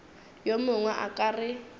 yo mongwe a ka re